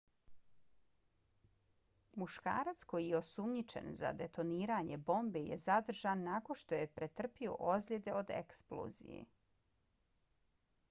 muškarac koji je osumnjičen za detoniranje bombe je zadržan nakon što je pretrpio ozljede od eksplozije